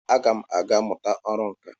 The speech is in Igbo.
Agam aga muta oru nka.